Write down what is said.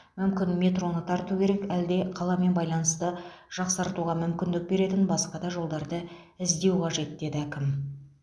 мүмкін метроны тарту керек әлде қаламен байланысты жақсартуға мүмкіндік беретін басқа да жолдарды іздеу қажет деді әкім